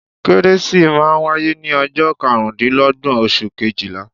Kérésì máa n wáyé ní ojọ́ karùndínlógbọ̀n oṣù kejìlá